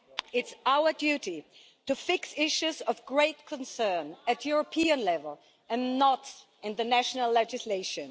It's our duty to fix issues of great concern at European level and not in the national legislation.